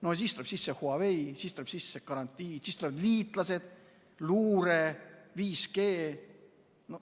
No siis tuleb sisse Huawei, siis tuleb sisse garantii, siis tulevad liitlased, luure ja 5G.